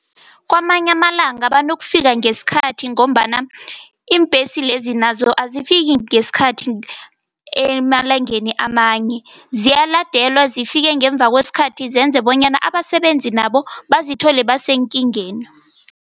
Kwamanye amalanga abantu banokufika ngesikhathi ngombana iimbhesi lezi nazo azifiki ngesikhathi emalangeni amanye, ziyaladelwa zifike ngemva kwesikhathi, zenze bonyana abasebenzi nabo bazithola basekingeni.